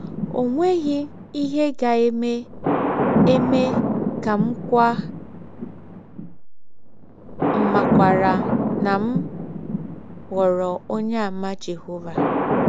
Ọ nweghị ihe ga - eme eme ka m kwaa mmakwaara na m ghọrọ Ọnyeàmà Jehọva.